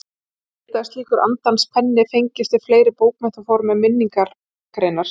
Ég vildi að slíkur andans penni fengist við fleiri bókmenntaform en minningargreinar.